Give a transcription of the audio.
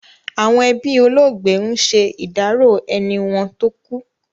Àwọn ẹbí olóògbé ń ṣe ìdárò ẹni wọn tó kú.